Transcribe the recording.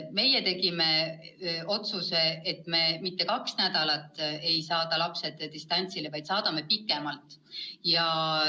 Meie tegime otsuse, et me mitte kaheks nädalaks ei saada lapsed distantsõppele, vaid saadame pikemalt.